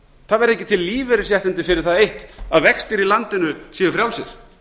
það verða ekki til lífeyrisréttindi fyrir það eitt að vextir í landinu séu frjálsir